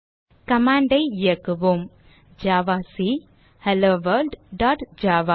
command ஐ இயக்குவோம் javac hello world dot Java